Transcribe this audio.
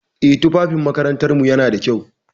Eh, tufafin makarantarmu yana da kyau.